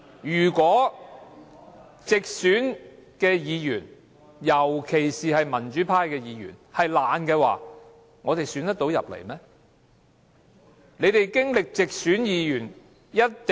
如果直選議員，特別是民主派的直選議員是懶惰的話，他們會當選嗎？